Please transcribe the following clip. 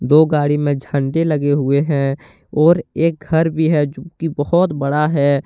दो गाड़ी में झंडे लगे हुए है और एक घर भी हैजो की बहुत बड़ा है।